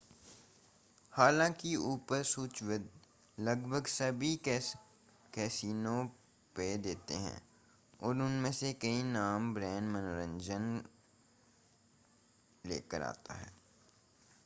हालाँकि ऊपर सूचीबद्ध लगभग सभी कैसिनो पेय देते हैं और उनमें से कई नाम-ब्रांड मनोरंजन मुख्य रूप से बड़े अल्बुकर्क और सांता फ़े के आसपास के बड़े वाले लेकर आते हैं।